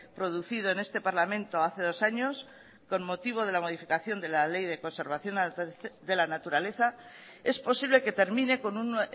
producido en este parlamento hace dos años con motivo de la modificación de la ley de conservación de la naturaleza es posible que termine con un